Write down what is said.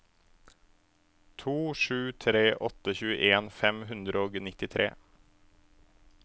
to sju tre åtte tjueen fem hundre og nittitre